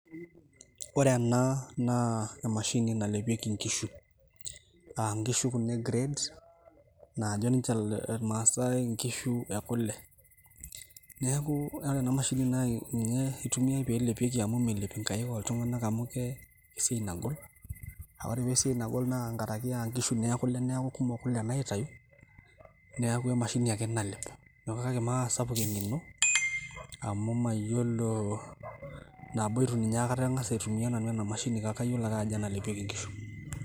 Ore ena naa emashini nalepieki inkishu. Aa nkishu Kuna e grade najo ninche irmaasae inkishu ekule . Niaku ore ena mashini na etumiay pee elepieki amu melep inkaik oltungani amu ee esiaai nagol . Naa ore paa esiaai nagol naa nkaraki aa nkishu ekule niaku kumok kule naitayu niaku emashini ake nalep .